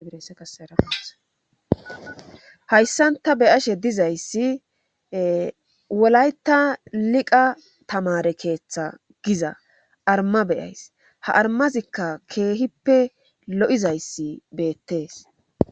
iaeahayssan ta beyashe dizayssi wolayta liqa tamare keeththa giza arma beyays ha armazikka keehippe lo7izayssi beettees